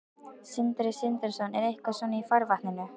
Sindri Sindrason: Er eitthvað svona í farvatninu?